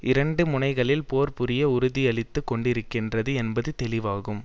இரண்டு முனைகளில் போர் புரிய உறுதியளித்துக் கொண்டிருக்கிறது என்பது தெளிவுவாகும்